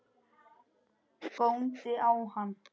Góndi á hann.